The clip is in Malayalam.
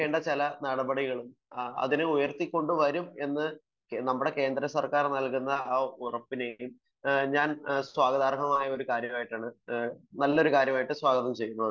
എടുക്കേണ്ട ചില നടപടികളും അതിനെ ഉയർത്തിക്കൊണ്ടു വരും എന്ന് നമ്മുടെ കേന്ദ്ര സർക്കാർ നൽകുന്ന ഉറപ്പിനെയും ഞാൻ സ്വാഗതാർഹമായ കാര്യമായിട്ടാണ് നല്ലൊരു കാര്യമായിട്ടു സ്വാഗതം ചെയുന്നു